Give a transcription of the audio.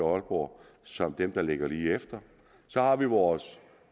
og aalborg som dem der ligger lige efter så har vi vores